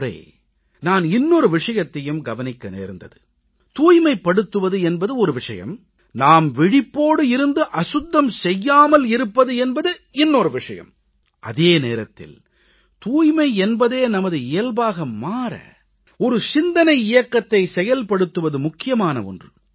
இந்த முறை நான் இன்னொரு விஷயத்தையும் கவனிக்க நேர்ந்தது தூய்மைப்படுத்துவது என்பது ஒரு விஷயம் நாம் விழிப்போடு இருந்து அசுத்தம் செய்யாமல் இருப்பது என்பது இன்னொரு விஷயம் அதே நேரத்தில் தூய்மை என்பதே நமது இயல்பாக மாற ஓர் சிந்தனை இயக்கத்தைச் செயல்படுத்துவது முக்கியமான ஒன்று